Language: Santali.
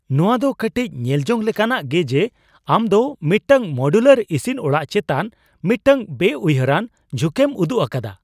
ᱱᱚᱶᱟ ᱫᱚ ᱠᱟᱹᱴᱤᱡ ᱧᱮᱞᱡᱚᱝ ᱞᱮᱠᱟᱱᱟᱜ ᱜᱮ ᱡᱮ ᱟᱢ ᱫᱚ ᱢᱤᱫᱴᱟᱝ ᱢᱚᱰᱤᱭᱩᱞᱟᱨ ᱤᱥᱤᱱ ᱚᱲᱟᱜ ᱪᱮᱛᱟᱱ ᱢᱤᱫᱴᱟᱝ ᱵᱮᱼᱩᱭᱦᱟᱹᱨᱟᱱ ᱡᱷᱩᱸᱠᱮᱢ ᱩᱫᱩᱜ ᱟᱠᱟᱫᱟ ᱾